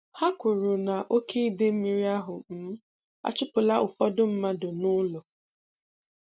Ha kwuru na oke idemmiri ahụ um achụpụla ụfọdụ mmadụ n'ụlọ